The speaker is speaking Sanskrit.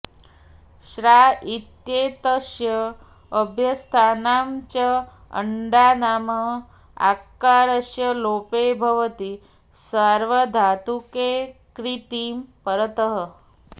श्ना इत्येतस्य अभ्यस्तानां च अङ्गानाम् आकारस्य लोपो भवति सार्वधातुके क्ङिति परतः